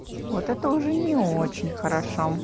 вот это уже не очень хорошо